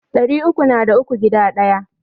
Ɗari uku na da uku guda Ɗaya.